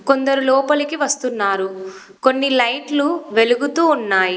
కొందరు లోపలికి వస్తున్నారు. కొన్ని లైట్లు వెలుగుతూ ఉన్నాయి.